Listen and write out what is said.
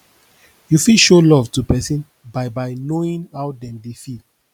you fit show love to person by by knowing how dem dey feel